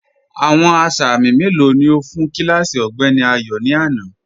Awọn asámì melo ni o fun kílásí Ọgbẹ̀ni Ayo ni ana?